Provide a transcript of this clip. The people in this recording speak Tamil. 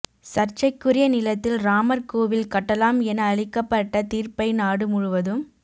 சர்ச்சைக்குரிய நிலத்தில் ராமர் கோவில் கட்டலாம் என அளிக்கப்பட்ட தீர்ப்பை நாடு முழுவதும்